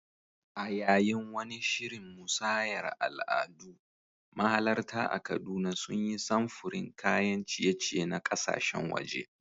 A yayin wani shirin musayar al'adu, mahalarta a Kaduna sun yi samfurin kayan ciye-ciye na kasashen waje.